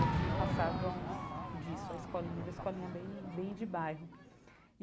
Eles não passavam disso, a escolinha era escolinha bem bem de bairro.